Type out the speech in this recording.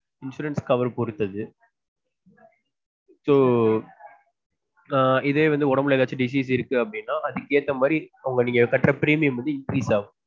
Insurance cover அ பொருத்தத so ஆஹ் இதே வந்து உடம்புல disease அப்டினா அதுக்கு ஏத்த மாதிரி நீங்க கட்டுற premium வந்து increase ஆகும்